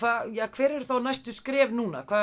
hver eru þá næstu skref